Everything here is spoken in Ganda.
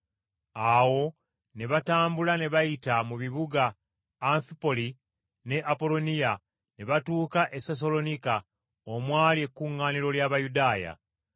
Awo ne batambula ne bayita mu bibuga Anfipoli ne Apolooniya ne batuuka e Sessaloniika, omwali ekkuŋŋaaniro ly’Abayudaaya.